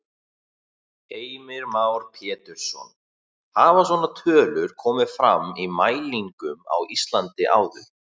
Heimir Már Pétursson: Hafa svona tölur komið fram í mælingum á Íslandi áður?